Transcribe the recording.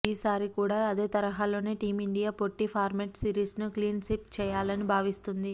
ఈ సారి కూడా అదే తరహాలోనే టీమిండియా పొట్టిఫార్మాట్ సిరీస్ను క్లీన్స్వీప్ చేయాలని భావిస్తోంది